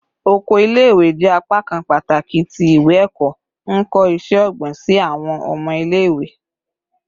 Oko ile-iwe jẹ apakan pataki ti iwe-ẹkọ, nkọ iṣẹ-ogbin si awọn ọmọ ile-iwe